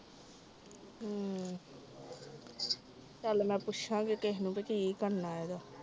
ਚਾਲ ਮੈਂ ਪੁਛਾਂਗੀ ਕਿਸੇ ਨੂੰ ਵੀ ਕਿ ਕਰਨਾ ਏਦਾਂ